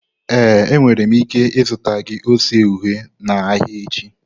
Ee, enwere m ike zụta gị ose uhie n'ahịa echi.